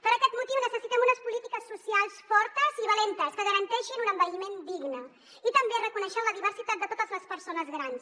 per aquest motiu necessitem unes polítiques socials fortes i valentes que garanteixin un envelliment digne i també reconeixent la diversitat de totes les persones grans